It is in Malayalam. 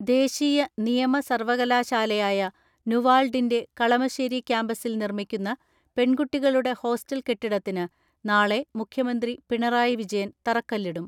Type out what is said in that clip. ദേശീയ നിയമ സർവകലാശാലയായ നുവാൽ ഡിന്റെ കളമ ശ്ശേരി കാമ്പസിൽ നിർമ്മിക്കുന്ന പെൺകുട്ടികളുടെ ഹോസ്റ്റൽ കെട്ടിടത്തിന് നാളെ മുഖ്യമന്ത്രി പിണറായി വിജയൻ തറക്കല്ലി ടും.